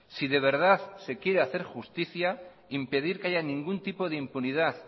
si de verdad se quiere hacer justicia impedir que haya ningún tipo de impunidad